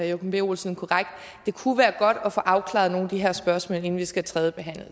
joachim b olsen korrekt det kunne være godt at få afklaret nogle af de her spørgsmål inden vi skal tredjebehandle